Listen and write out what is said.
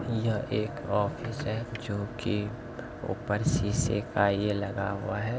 ये एक ऑफिस है जो की ऊपर शीशे का ये लगा हुआ है।